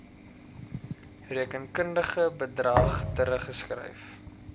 rekenkundige bedrag teruggeskryf